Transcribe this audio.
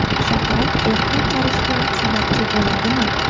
Shakar erta qarishga sababchi bo‘ladimi?